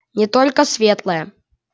не только светлые